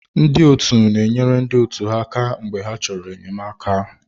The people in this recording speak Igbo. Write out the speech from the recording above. Ndị ọtu na enyere ndị otu ha aka mgbe ha chọrọ enyemaka.